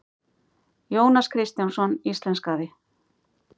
Jónas Kristjánsson íslenskaði.